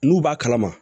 N'u b'a kalama